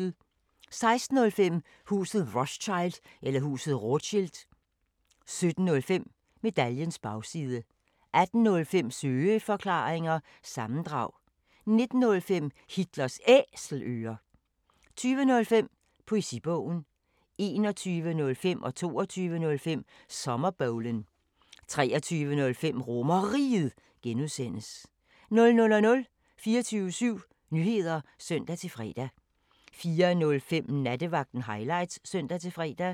16:05: Huset Rothschild 17:05: Medaljens Bagside 18:05: Søeforklaringer – sammendrag 19:05: Hitlers Æselører 20:05: Poesibogen 21:05: Sommerbowlen 22:05: Sommerbowlen 23:05: RomerRiget (G) 00:00: 24syv Nyheder (søn-fre) 04:05: Nattevagten Highlights (søn-fre)